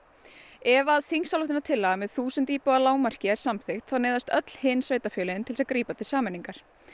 ef þingsályktunartillaga með þúsund íbúa lágmarki er samþykkt þá neyðast öll hin sveitarfélögin til að grípa til sameiningar